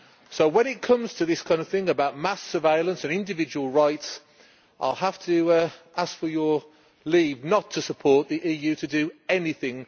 So when it comes to this kind of thing about mass surveillance and individual rights, I have to ask for leave not to support the EU to do anything.